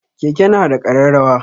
Keke na da ƙararrawa.